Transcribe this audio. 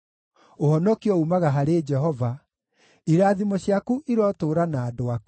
Ũhonokio uumaga harĩ Jehova. Irathimo ciaku irotũũra na andũ aku.